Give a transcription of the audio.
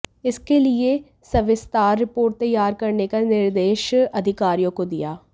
इसके लिए सविस्तार रिपोर्ट तैयार करने का निर्देश अधिकारियों को दिया